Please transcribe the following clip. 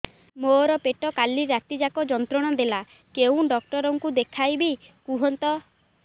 ମୋର ପେଟ କାଲି ରାତି ଯାକ ଯନ୍ତ୍ରଣା ଦେଲା କେଉଁ ଡକ୍ଟର ଙ୍କୁ ଦେଖାଇବି କୁହନ୍ତ